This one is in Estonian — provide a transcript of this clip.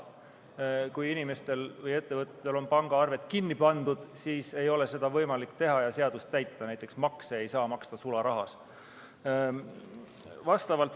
Aga kui inimestel või ettevõtjatel on pangaarved kinni pandud, siis ei ole seda võimalik teha ja seadust täita, näiteks makse ei saa maksta sularahas.